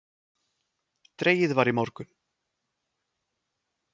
Dregið var í morgun